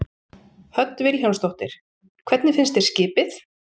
Hödd Vilhjálmsdóttir: Hvernig finnst þér skipið?